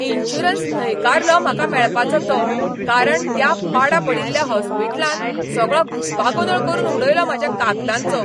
Insurance न्हयकारलो म्हाका मेळपाचो तो, कारण त्या पाडा पडिल्ल्या हॉस्पिटलान सगळो घुस्पागोंदळ करून उडयलो म्हाज्या कागदांचो.